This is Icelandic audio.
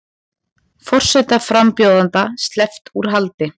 Forsetaframbjóðanda sleppt úr haldi